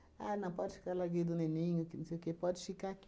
Ah, não, pode ficar larguei do neném, que não sei o que, pode ficar aqui.